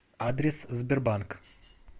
адрес сбербанк